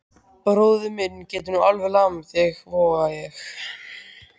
Bróðir minn getur nú alveg lamið þig, voga ég.